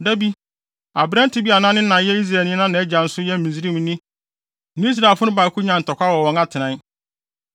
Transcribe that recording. Da bi, aberante bi a ne na yɛ Israelni na nʼagya nso yɛ Misraimni ne Israelfo no baako nyaa ntɔkwaw wɔ wɔn atenae.